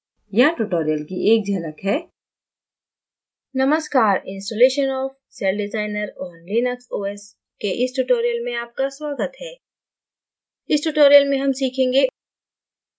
यहाँ tutorial की एक झलक है